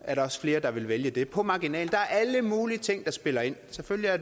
er der også flere der vil vælge det på marginalen der er alle mulige ting der spiller ind selvfølgelig er